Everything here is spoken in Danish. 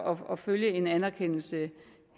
og følge en anerkendelse